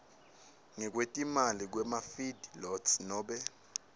ngekwetimali kwemafeedlots nobe